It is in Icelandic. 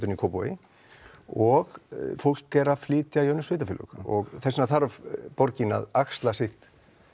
en í Kópavogi og fólk er að flytja í önnur sveitarfélög þess vegna þarf borgin að axla sitt